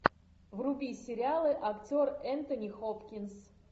вруби сериалы актер энтони хопкинс